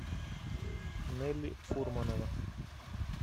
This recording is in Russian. нелли фурманова